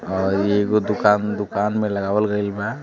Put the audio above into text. और ये वो दुकान -दुकान में लगावल गईलबा।